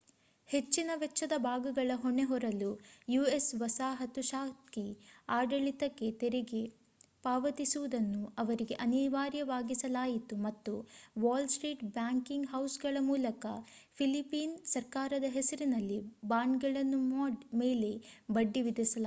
ಹೆಚ್ಚಿನ ವೆಚ್ಚದ ಭಾಗಗಳ ಹೊಣೆ ಹೊರಲು ಯು.ಎಸ್ ವಸಾಹತುಶಾಹಿ ಆಡಳಿತಕ್ಕೆ ತೆರಿಗೆ ಪಾವತಿಸುವುದನ್ನು ಅವರಿಗೆ ಅನಿವಾರ್ಯವಾಗಿಸಲಾಯಿತು ಮತ್ತು ವಾಲ್‌ಸ್ಟ್ರೀಟ್ ಬ್ಯಾಂಕಿಂಗ್ ಹೌಸ್‌ಗಳ ಮೂಲಕ ಫಿಲಿಪೀನ್ ಸರ್ಕಾರದ ಹೆಸರಿನಲ್ಲಿ ಬಾಂಡ್‌ಗಳ ಮೇಲೆ ಬಡ್ಡಿ ವಿಧಿಸಲಾಯಿತು